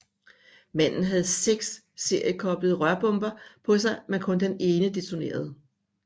Manden havde seks seriekoblede rørbomber på sig men kun den ene detonerede